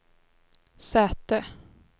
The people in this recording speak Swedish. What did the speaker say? säte